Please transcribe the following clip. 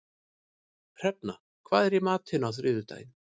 Hrefna, hvað er í matinn á þriðjudaginn?